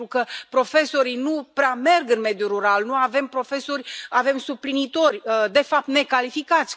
Pentru că profesorii nu prea merg în mediul rural, nu avem profesori, avem suplinitori, de fapt necalificați.